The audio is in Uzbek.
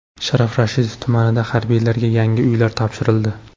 Sharof Rashidov tumanida harbiylarga yangi uylar topshirildi.